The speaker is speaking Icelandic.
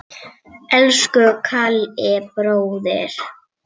Elsku Kalli bróðir.